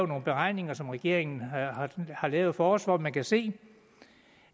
nogle beregninger som regeringen har lavet for os hvor man kan se